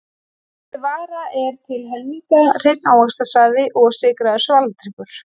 Þessi vara er til helminga hreinn ávaxtasafi og sykraður svaladrykkur.